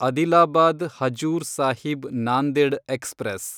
Adilabad Hazur Sahib Nanded express